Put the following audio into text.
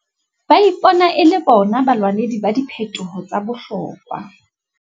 Ba ipona e le bona balwanedi ba diphetoho tsa bohlokwa.